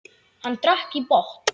Hann drakk í botn.